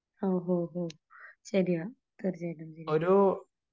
ആ ഓഹ് ഓഹ് ശെരിയാ തീർച്ചയായിട്ടും ശെരി